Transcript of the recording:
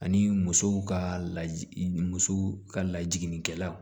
Ani musow ka la musow ka lajiginnikɛlaw